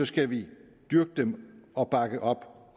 skal vi dyrke dem og bakke op om